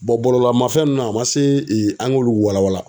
bɔlɔlɔ mafɛn ninnu na a man se an k'olu walawala.